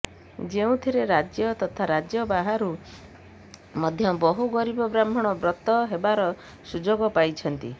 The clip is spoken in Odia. ଯେଉଁଥିରେ ରାଜ୍ୟ ତଥା ରାଜ୍ୟ ବାହାରୁ ମଧ୍ୟ ବହୁ ଗରୀବ ବ୍ରାହ୍ମଣ ବ୍ରତ ହେବାର ସୁଯୋଗ ପାଇଛନ୍ତି